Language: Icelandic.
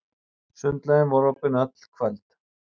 Sundlaugin var opin öll kvöld.